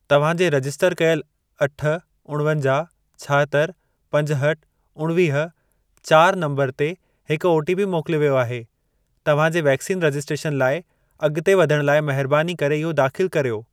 तव्हां जे रजिस्टर कयल अठ, उणवंजाहु, छाहतरि, पंजहठि, उणिवीह, चारि नंबर ते हिक ओटीपी मोकिलियो वियो आहे। तव्हां जे वैक्सीन रजिस्ट्रेशन लाइ अॻिते वधण लाइ महिरबानी करे इहो दाख़िल कर्यो।